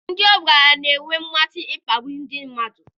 Ndị ọgaranya na-enwe mmasị n'ịkpagbu ndị mmadụ.